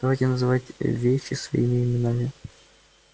давайте называть вещи своими именами